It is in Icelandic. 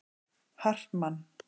Hartmann